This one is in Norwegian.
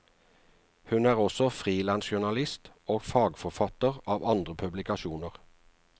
Hun er også frilansjournalist og fagforfatter av andre publikasjoner.